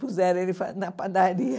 Puseram ele fa na padaria.